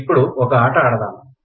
ఇప్పుడు ఒక ఆట ఆడదాం